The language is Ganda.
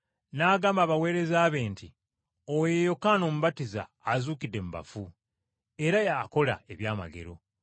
n’agamba abaweereza be nti, “Oyo ye Yokaana Omubatiza azuukidde mu bafu, era y’akola eby’amagero.”